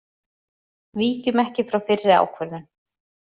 Víkjum ekki frá fyrri ákvörðun